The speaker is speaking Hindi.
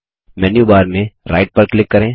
मेन्यू बार में राइट पर क्लिक करें